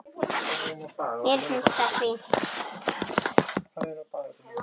Mér finnst það fínt.